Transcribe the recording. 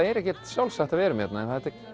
er ekkert sjálfsagt að við erum hérna það er